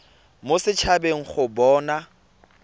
mo set habeng go bona